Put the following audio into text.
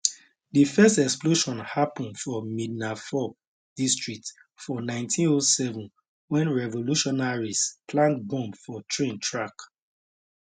di first explosion happun for midnapore district for 1907 wen revolutionaries plant bomb for train track